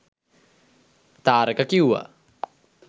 තාරක කිව්වා